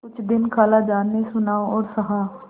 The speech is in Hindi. कुछ दिन खालाजान ने सुना और सहा